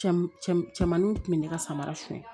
Cɛmaninw kun bɛ ne ka samara suɲɛ